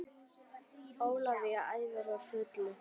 Ólafía æfir á fullu